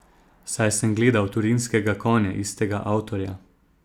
Saj sem gledal Torinskega konja istega avtorja.